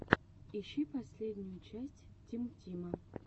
ищи последнюю часть тим тима